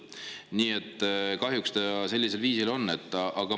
Nii et kahjuks ta sellisel viisil on.